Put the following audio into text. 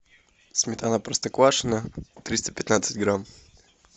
сметана простоквашино триста пятнадцать грамм